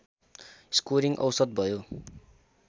scoring औसत भयो